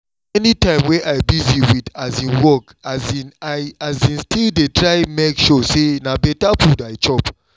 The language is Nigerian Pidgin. any time wey i busy with um work um i um still dey try make sure say na better food i chop